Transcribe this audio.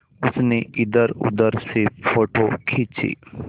उसने इधरउधर से फ़ोटो खींचे